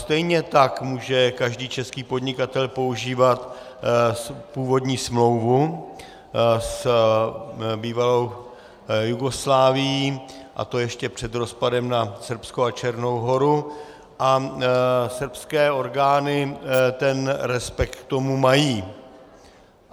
Stejně tak může každý český podnikatel používat původní smlouvu s bývalou Jugoslávií, a to ještě před rozpadem na Srbsko a Černou Horu, a srbské orgány ten respekt k tomu mají.